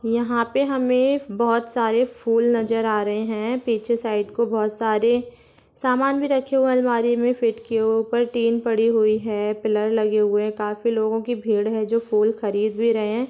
यहाँ पे हमे बहुत सारे फूल नजर आ रहे हैं पीछे साइड को बहुत सारे समान भी रखे हुए हैं अलमारी मे फिट कीये हुए ऊपर टीन पड़ी हुई हैं पिलर लगी हुई है काफी लोगों की भीड़ हैं जो फूल खरीद भी रहे हैं।